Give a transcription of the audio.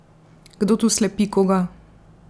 Kdo tu slepi koga?